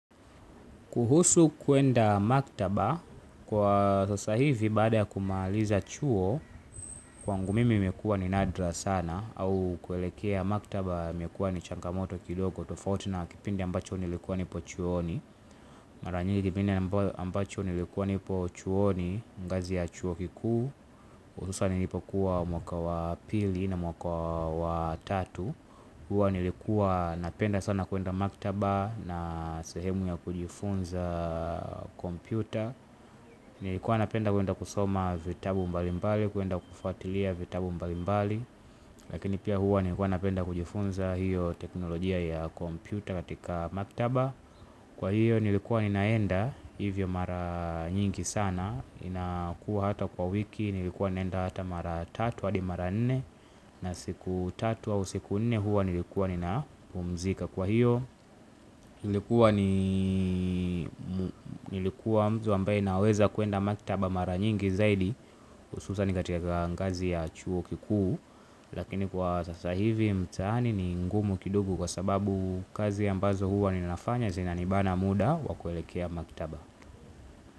Kuhusu kuenda maktaba kwa sasa hivi baada kumaliza chuo, kwangu mimi imekuwa ni nadra sana au kuelekea maktaba imekuwa ni changamoto kidogo tofauti na kipindi ambacho nilikuwa nipo chuoni, mara nyingi kipindi ambacho nilikuwa nipo chuoni ngazi ya chuo kikuu hususan ilikuwa mwaka wa pili na mwaka wa tatu. Huwa nilikuwa napenda sana kuenda maktaba na sehemu ya kujifunza kompyuta. Nilikuwa napenda kuenda kusoma vitabu mbalimbali, kuenda kufuatilia vitabu mbalimbali. Lakini pia huwa nilikuwa napenda kujifunza hiyo teknolojia ya kompyuta katika maktaba. Kwa hiyo nilikuwa ninaenda hivyo mara nyingi sana inakuwa hata kwa wiki nilikuwa naenda hata mara tatu hadi mara nne na siku tatu au siku nne huwa nilikuwa ninapumzika kwa hiyo. Nilikuwa mtu ambaye naweza kuenda maktaba mara nyingi zaidi hususan ni katika ngazi ya chuo kikuu. Lakini kwa sasa hivi mtaani ni ngumu kidogo kwa sababu kazi ambazo huwa ninafanya zina nibana muda wa kuelekea maktaba.